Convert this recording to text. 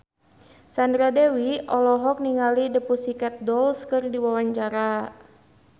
Sandra Dewi olohok ningali The Pussycat Dolls keur diwawancara